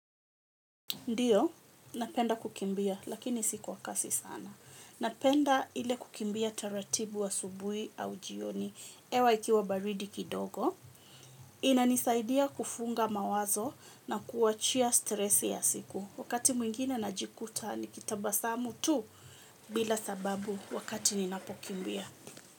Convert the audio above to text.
Ndiyo, napenda kukimbia, lakini si kwa kasi sana. Napenda ile kukimbia taratibu asubui au jioni, hewa ikiwa baridi kidogo. Inanisaidia kufunga mawazo na kuwachia stresi ya siku. Wakati mwingine najikuta, nikitabasamu tu, bila sababu wakati ninapokimbia.